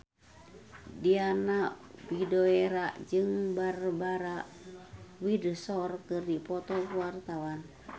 Diana Widoera jeung Barbara Windsor keur dipoto ku wartawan